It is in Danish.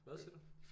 Hvad siger du